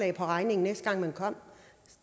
i regningen næste gang man kom